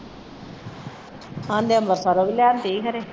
ਆਹਂਦੇ ਅੰਬਰਸਰੋ ਵੀ ਲਿਆਉਂਦੀ ਹੀ ਖਰੇ